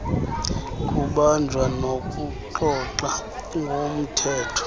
kubanjwa nokuxoxa ngomthetho